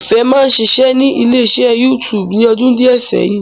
Ìfẹ́ máa ń ṣiṣẹ́ ní ilé iṣẹ́ YouTube ní ọdún díẹ̀ sẹ́yìn